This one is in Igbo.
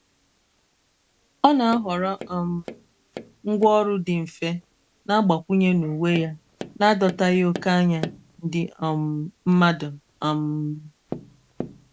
ọ na-ahọrọ um ngwaọrụ dị mfe na-agbakwụnye n'uwe ya n'adọtaghị oke anya ndi um mmadu. um